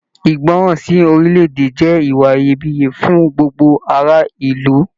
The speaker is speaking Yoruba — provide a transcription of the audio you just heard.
Ìgbọràn sí orilẹ-èdè jẹ ìwà Iyebiye fún gbogbo ará ìlú.